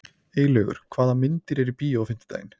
Eylaugur, hvaða myndir eru í bíó á fimmtudaginn?